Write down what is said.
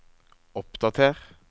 oppdater